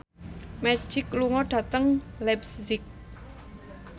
Magic lunga dhateng leipzig